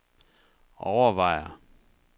overvejer